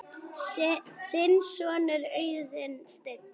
Þinn sonur, Auðunn Steinn.